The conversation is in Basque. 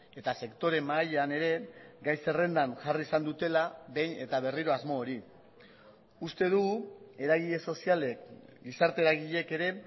eta sektore mahaian ere gai zerrendan jarri izan dutela behin eta berriro asmo hori uste dugu eragile sozialek gizarte eragileek ere